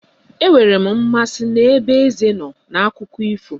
Enwere m mmasị n'ebe eze nọ n'akụkọ ifo